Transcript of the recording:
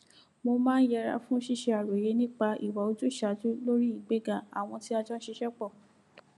mo máa ń yẹra fún ṣíṣe àròyé nípa ìwà ojúṣàájú lórí ìgbéga àwọn tí a jọ n ṣiṣẹ pọ